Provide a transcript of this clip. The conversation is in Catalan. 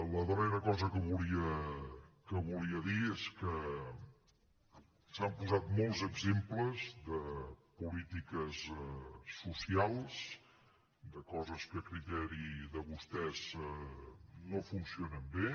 la darrera cosa que volia dir és que s’han posat molts exemples de polítiques socials de coses que a criteri de vostès no funcionen bé